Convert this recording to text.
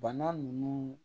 Bana nunnu